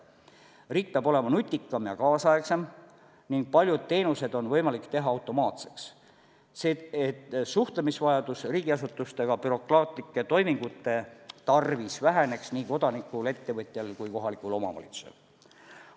Riik peab olema nutikam ja kaasaegsem ning paljud teenused on võimalik teha automaatseks, et vajadus riigiasutustega bürokraatlike toimingute tarvis suhelda väheneks nii kodanikul, ettevõtjal kui kohalikul omavalitsusel.